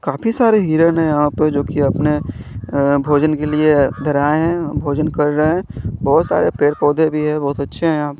काफी सारे हिरन है यहां प जोकि अपने अं भोजन के लिए इधर आएं है भोजन कर रहे हैं बहोत सारे पेड़ पौधे भी है बहुत अच्छे हैं।